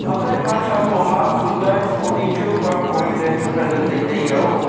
aphai ma shatho ma tuta scooty chu park koriley chu tai taiya o.